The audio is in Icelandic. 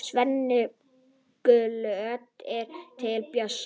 Svenni glottir til Bjössa.